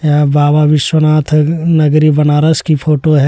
यह बाबा विश्वनाथ नगरी बनारस की फोटो है।